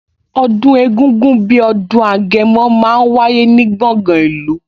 Ọdún egungun bí ọdún Agẹmọ máa ń wáyé ní gbọ̀ngan ìlú